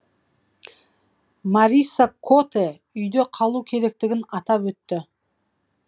марисса котэ үйде қалу керектігін атап өтті